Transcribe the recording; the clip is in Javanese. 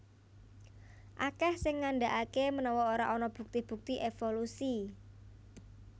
Akèh sing ngandhakaké menawa ora ana bukti bukti évolusi